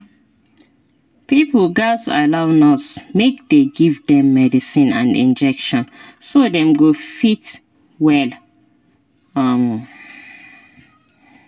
pipo gatz allow nurse make dey give dem medicine and injection so dem go fit well. um